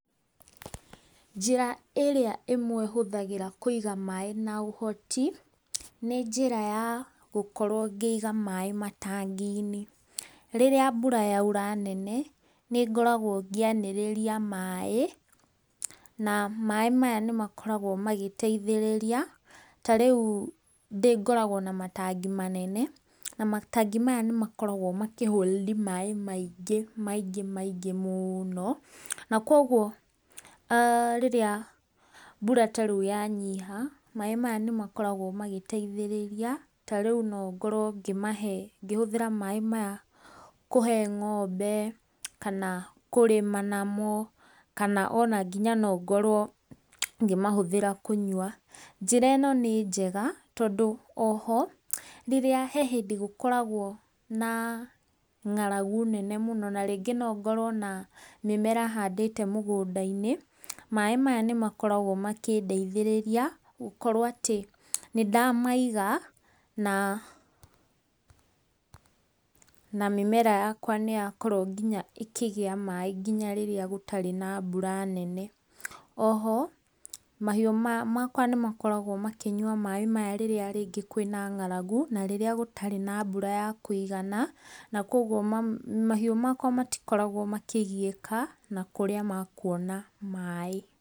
Njĩra iria ĩmwe gũthagĩra kũiga maaĩ na ũhoti, nĩ njĩra ya gũkorwo ngĩiga maaĩ matangi-inĩ. Rĩrĩa mbura yaura nene, nĩngoragwo ngĩanĩrĩria maaĩ, na maaĩ maya nĩmakoragwo magĩteithĩrĩria, tarĩu ngoragwo na matangi manene, na matangi maya nĩmakoragwo makĩ hold maaĩ maingĩ maingĩ mũũno, nakoguo rĩrĩa mbura tarĩu yanyiha, maaĩ maya nĩmakoragwo magĩteithĩrĩria, tarĩu nongũrwo ngĩhũthĩra maaĩ maya kũhe ng'ombe, kana kũrĩma namo, kana ona nginya nongorwo ngĩmahũthĩra kũnyua. Njĩra ino nĩ njega, tondo oho, herĩrĩa gũkoragwo na ng'aragu nene mũno narĩngĩ nongorwo ndĩna mĩmera handĩte mũgũnda-inĩ, maaĩ maya nĩmakoragwo makĩndeithĩrĩria, gũkorwo atĩ, nĩndamaiga, na mĩmera yakwa nĩyakorwo ĩkĩgĩa maaĩ nginya rĩrĩa gũtarĩ na mbura nene. Oho, mahiũ makwa nĩmakoragwo makĩnyua maaĩ maya rĩrĩa rĩngĩ kwĩna ng'aragu, na rĩrĩa gũtarĩ na mbura ya kũigana, nakoguo mahiũ makwa matikoragwo makĩgiĩka na kũrĩa mekuona maaĩ.